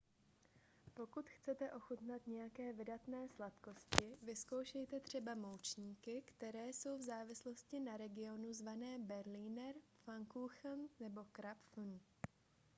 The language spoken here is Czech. pokud chcete ochutnat nějaké vydatné sladkosti vyzkoušejte třeba moučníky které jsou v závislosti na regionu zvané berliner pfannkuchen nebo krapfen